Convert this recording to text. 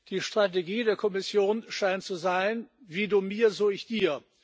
Die Strategie der Kommission scheint zu sein Wie du mir, so ich dir.